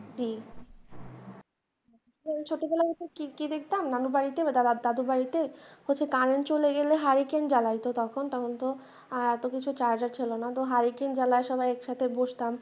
জি ছোটবেলায় কি দেখতাম নানুর বাড়িতে বা দাদুর বাড়িতে হচ্ছে current চলে গেলে হ্যারিকেন জ্বালাইতো তখন তখন তো এতো কিছু charger ছিলোনা তো হ্যারিকেন জ্বালিয়ে সবাই একসাথে বসতাম।